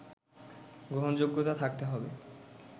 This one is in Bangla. গ্রহণযোগ্যতা থাকতে হবে